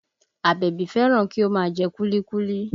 Àbẹ̀bí fẹ́ràn kí ó máa jẹ kúlíkúlí